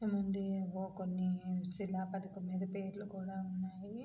ఏవోకొన్ని శిలాపథకం పైన పేర్లు కూడా ఉన్నాయి.